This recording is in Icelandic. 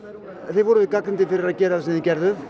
þið voruð gagnrýndir fyrir að gera það sem þið gerðuð